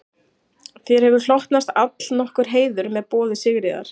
Þér hefur hlotnast allnokkur heiður með boði Sigríðar